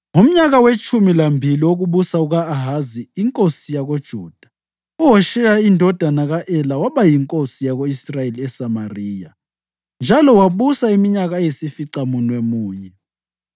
Ngomnyaka wetshumi lambili wokubusa kuka-Ahazi inkosi yakoJuda, uHosheya indodana ka-Ela waba yinkosi yako-Israyeli eSamariya, njalo wabusa iminyaka eyisificamunwemunye.